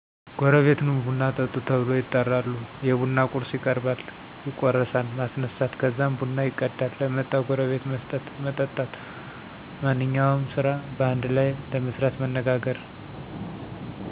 ጎረቤት ኑ ቡና ጠጡ ተብሎ ይጠራሉ። የቡና ቁርስ ይቀርባል፣ ይቁረሳን፣ ማስነሳት ከዛም ቡና ይቀዳን ለመጠዉ ጎረቤት መስጠት፣ መጠጣት። ማንኛውም ስራ በአንድ ለይ ለመስራት መነጋገር።